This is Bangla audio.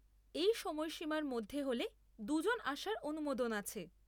এই সময়সীমার মধ্যে হলে দুজন আসার অনুমোদন আছে।